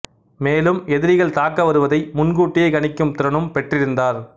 மேலும் எதிரிகள் தாக்க வருவதை முன்கூட்டியே கணிக்கும் திறனும் பெற்றிருந்தார்